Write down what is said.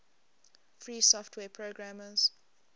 free software programmers